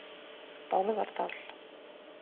Bárðardal